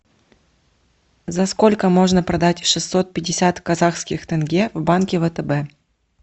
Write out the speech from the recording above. за сколько можно продать шестьсот пятьдесят казахских тенге в банке втб